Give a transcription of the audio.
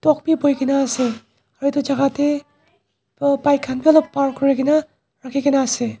Dog bi buhi kena ase aro etu jaka te aah bike khan bi alop park kuri kena rakhi kena ase.